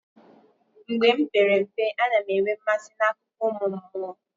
Mgbe m pere mpe, a na m enwe mmasị n'akụkọ ụmụ mmụọ.